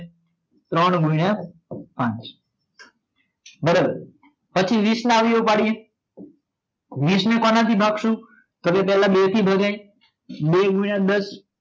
ત્રણ ગુણ્યા પાંચ બરોબર પછી વીસ ના અવયવો પાડીએ વીસ ને કોણ થી ભાગસું સૌથી પેલા બે થી ભાગે બે ગુણ્યા દસ